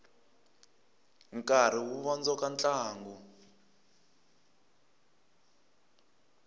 nkarhi wu vondzoka ntlangu